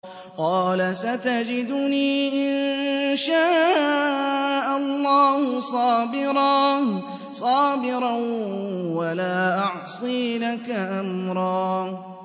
قَالَ سَتَجِدُنِي إِن شَاءَ اللَّهُ صَابِرًا وَلَا أَعْصِي لَكَ أَمْرًا